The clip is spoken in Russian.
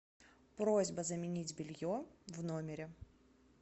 просьба заменить белье в номере